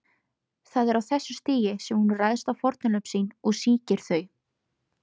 Það er á þessu stigi sem hún ræðst á fórnarlömb sín og sýkir þau.